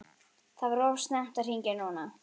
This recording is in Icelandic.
Það var of snemmt að hringja núna.